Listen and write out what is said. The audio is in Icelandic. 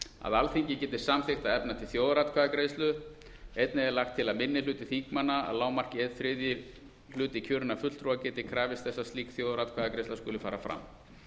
að alþingi geti samþykkt að efna til þjóðaratkvæðagreiðslu einnig er lagt til að minni hluti þingmanna að lágmarki einn þriðji hluti kjörinna fulltrúa geti krafist þess að slík þjóðaratkvæðagreiðsla skuli fara fram